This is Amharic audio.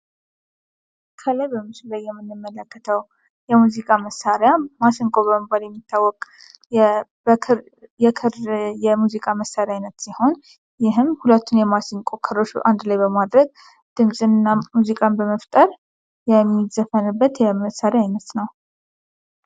ከላይ በምስሉ ላይ የምንመለከተው የሙዚቃ መሳሪያ ማሲንቆ በመባል የሚታወቅ የክር የሙዚቃ መሳሪያ አይነት ሲሆን፤ ይህም ሁለቱን የማሲንቆ ክሮች አንድ ላይ በማድረግ ድምጽ እና ሙዚቃን በመፍጠር የሚዘፈንበት የመሳሪያ አይነት ነው።